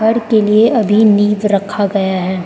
घर के लिए अभी नींव रखा गया है।